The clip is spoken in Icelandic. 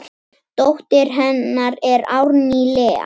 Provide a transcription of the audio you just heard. Dóttir hennar er Árný Lea.